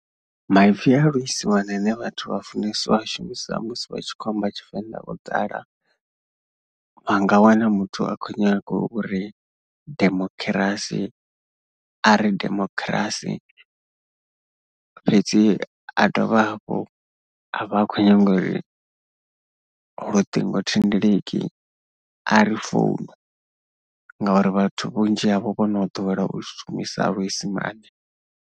Maipfi a luisimane ane vhathu vha funesa u a shumisa musi vha tshi khou amba Tshivenḓa o ḓala. Vha nga wana muthu a khou nyaga uri demokhirasi a ri demokhirasi fhedzi a dovha hafhu a vha a khou nyaga uri luṱingothendeleki, a ri founu ngauri vhathu vhunzhi havho vho no ḓowela u shumisa luisimane.